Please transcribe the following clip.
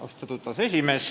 Austatud aseesimees!